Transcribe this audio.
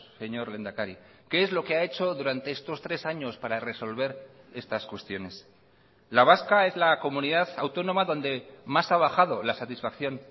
señor lehendakari qué es lo que ha hecho durante estos tres años para resolver estas cuestiones la vasca es la comunidad autónoma donde más ha bajado la satisfacción